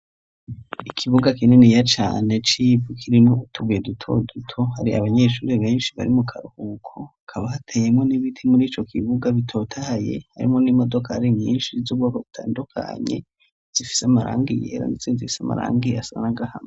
Ikibuga kininiya cane c'ivu kirimwo utubuye duto duto; hari abanyeshuri benshi bari mu karuhuko. Hakaba hateyemwo n'ibiti muri ico kibuga bitotahaye, harimwo n'imodokari nyinshi z'ubwoko butandukanye, zifise amarangi yera, n'izindi zifise amarangi asa n'agahama.